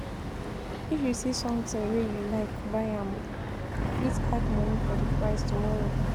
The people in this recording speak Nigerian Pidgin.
If you see sometin wey you like, buy am o, dey fit add moni for di price tomorrow.